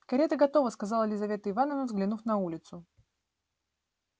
карета готова сказала лизавета ивановна взглянув на улицу